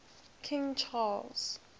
king charles